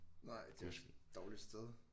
Nej det er også et dårligt sted